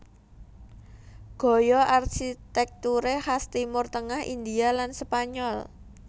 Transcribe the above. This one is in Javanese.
Gaya arsitekture khas Timur Tengah India lan Spanyol